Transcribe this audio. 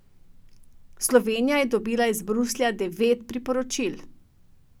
Slovenija je dobila iz Bruslja devet priporočil.